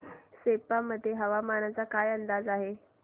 सेप्पा मध्ये हवामानाचा काय अंदाज आहे